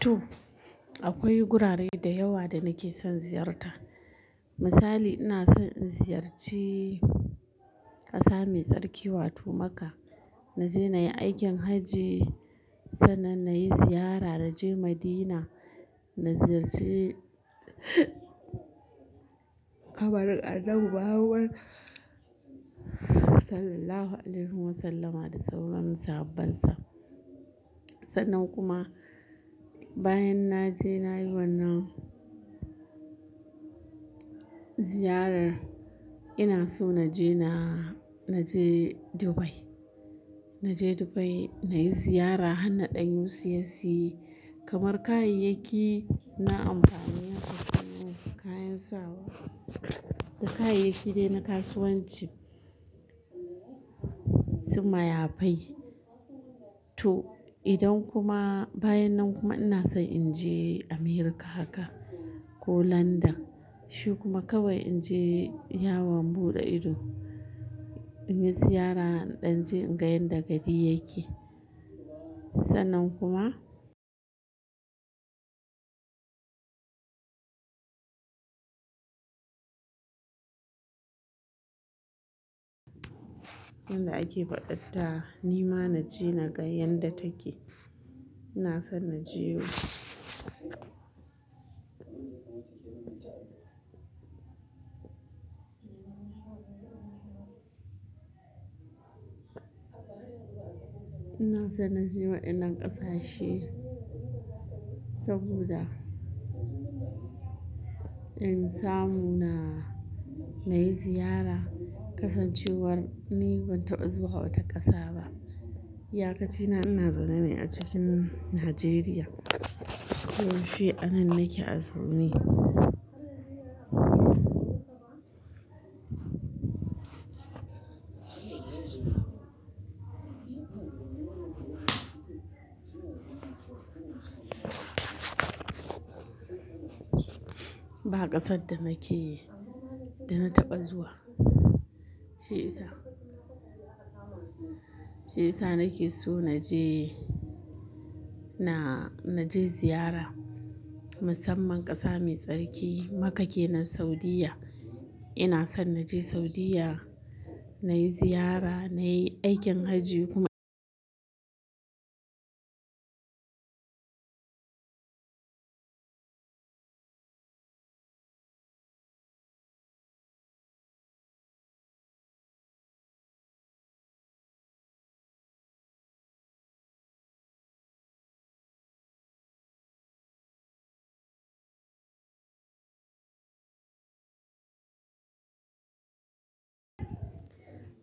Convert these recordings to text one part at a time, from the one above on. To, akwai gurare da yawa da nake son ziyarta. Misali ina son in ziyarci ƙasa mai tsarki wato Makka. Na je na yi aikin hajji, sannan na yi ziyara na je Madina, na ziyarci kabarin annabi Muhammad sallallahu alaihi wasallama da sauran sahabbansa. Sannan kuma bayan na je na yi wannan ziyarar, ina so na je na, na je Dubai. Na je Dubai, na yi ziyara, har na naɗan UCSE kamar kayayyaki, na amfani na musanman kayan sawa da kayayyaki dai na kasuwanci sun mayafai. To idan kuma bayan nan kuma ina so in je America haka ko London. Shi kuma kawai in je yawon buɗe ido, in yi ziyara ɗan je in ga yadda gari yake. Sannan kuma yanda ake fadar ta, ni ma na je na gan yanda take. Ina son na je ina son na je waɗannan ƙasashe saboda in samu na, na yi ziyara. Kasancewar ni ban taɓa zuwa wata ƙasa ba. Iyakacina ina zaune ne a cikin Najeriya. Ko yaushe anan nake a zaune. Ba ƙasar da nake, da na taɓa zuwa. Shi ya sa, shi ya sa nake so na je, na, na je ziyara. Musamman ƙasa mai tsarki Makka kenan Saudiyya. Ina son na je Saudiyya, na yi ziyara, na yi aikin hajji kuma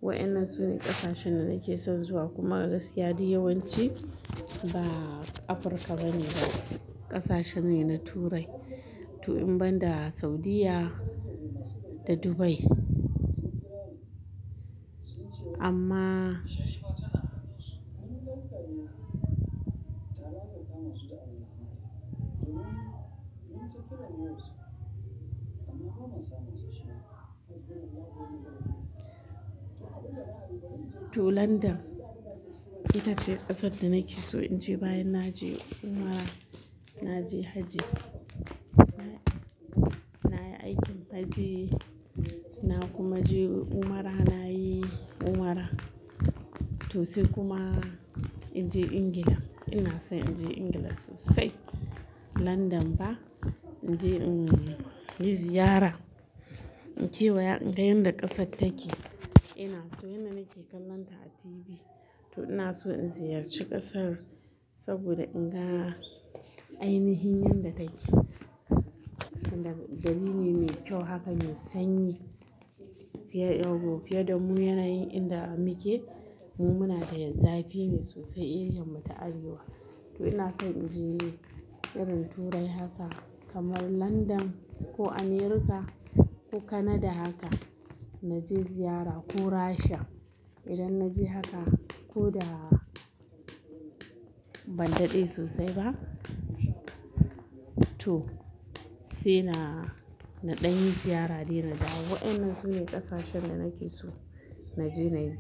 wayannan su ne ƙasashen da nake son zuwa kuma a gaskiya duk yawanci ba Afirka bane ba. Ƙasashe ne na Turai. To in banda Saudiyya da Dubai. Amma to London itace ƙasar da nake so in je bayan na je umra, na je hajji. Na yi aikin hajji, na kuma je umra, na yi umra. To sai kuma in je England. Ina son in je England sosai. London ba in je in yi ziyara. In kewaya in ga yanda ƙasar take. Ina so yanda nake kallonta a TV. To ina so in ziyarci ƙasar saboda in ga ainihin yadda take. Wanda dalili mai kyau haka mai sanyi fiye da mu yanayin inda muke. Mu muna da zafi ne sosai irin mu ta arewa. To ina son in je irin Turai haka kamar London ko America ko Canada haka na je ziyara ko Rashiya. Idan na je haka ko da ban daɗe sosai ba. To sai na, na ɗan yi ziyara dai na dawo. Wayannan sune ƙasashen da nake so na je na yi ziyara.